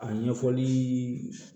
A ɲɛfɔli